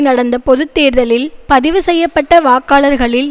நடந்த பொது தேர்தலில் பதிவு செய்ய பட்ட வாக்காளர்களில்